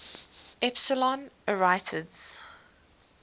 epsilon arietids